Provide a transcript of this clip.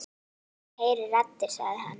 Hann heyrir raddir sagði hann.